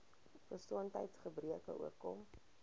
gesondheids gebreke oorkom